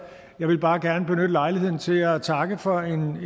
jeg vil bare gerne benytte lejligheden til at takke for